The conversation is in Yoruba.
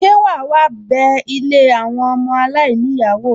Ṣe wàá wá bé ilé àwọn ọmọ aláìníyàá wò?